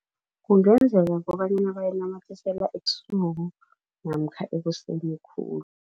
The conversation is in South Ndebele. Kungenzeka kobanyana bayinamathisela ebusuku namkha ekuseni khulu.